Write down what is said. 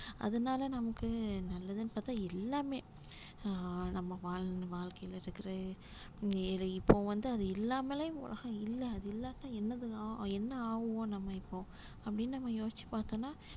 அதனால நமக்கு நல்லதுன்னு பார்த்தா எல்லாமே அஹ் நம்ம வாழ்ந்த வாழ்க்கையில இப்போ வந்து அது இல்லாமலே உலகம் இல்ல அது இல்லாட்டா என்னதுதான் என்ன ஆவோம் நம்ம இப்போ அப்படின்னு நம்ம யோசிச்சு பார்த்தோம்ன்னா